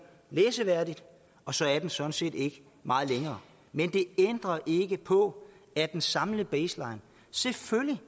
læseværdigt og så er den sådan set ikke meget længere men det ændrer ikke på at den samlede baseline selvfølgelig